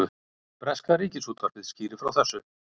Breska ríkisútvarpið skýrir frá þessu